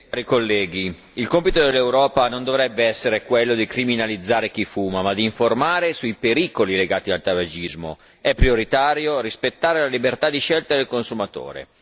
Signor Presidente, onorevoli colleghi, il compito dell'Europa non dovrebbe essere quello di criminalizzare chi fuma, ma di informare sui pericoli legati al tabagismo è prioritario rispettare la libertà di scelta del consumatore.